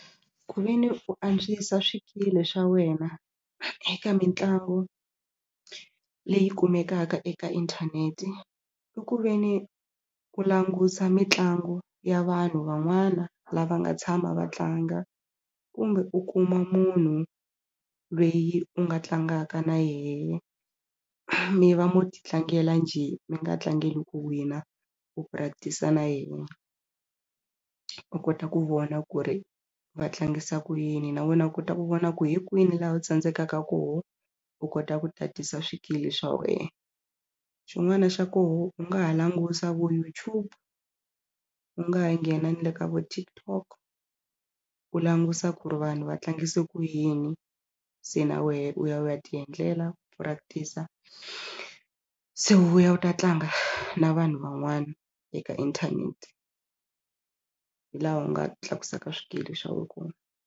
Ku ve ni u antswisa swikili swa wena eka mitlangu leyi kumekaka eka inthanete i ku ve ni ku langusa mitlangu ya vanhu van'wana lava nga tshama va tlanga kumbe u kuma munhu lweyi u nga tlangaka na yena mi va mi titlangela njhe mi nga tlangeli ku win a u practice a na yena u kota ku vona ku ri va tlangisa ku yini na wena u kota ku vona ku hi kwini laha u tsandzekaka kona u kota ku tatisa swikili swa wena. Xin'wana xa kona u nga ha languta vo YouTube u nga ha nghena na le ka vo TikTok u languta ku ri vanhu va tlangisa ku yini se na wena u ya u ya ti endlela u practic-a se u vuya u ta tlanga na vanhu van'wana eka inthanete hi laha u nga tlakusaka swikili swa wa kona.